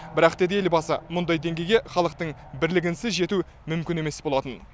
бірақ деді елбасы мұндай деңгейге халықтың бірлігінсіз жету мүмкін емес болатын